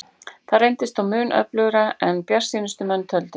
Það reyndist þó mun örðugra en bjartsýnustu menn töldu.